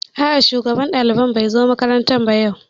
A'a shugaban ɗaliban bai zo makaranta ba yau